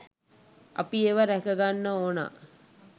අපි ඒවා රැකගන්න ඕනා.